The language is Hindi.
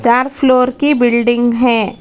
चार फ्लोर की बिल्डिंग है।